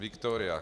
Victoria!